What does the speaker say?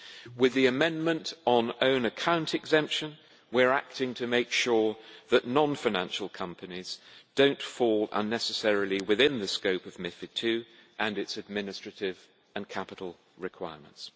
With the amendment on own account exemption we are acting to make sure that non financial companies do not fall unnecessarily within the scope of MiFID II and its administrative and capital requirements.